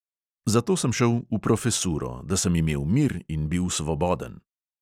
Zato sem šel v profesuro, da sem imel mir in bil svoboden.